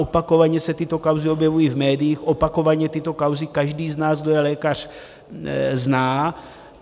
Opakovaně se tyto kauzy objevují v médiích, opakovaně tyto kauzy každý z nás, kdo je lékař, zná.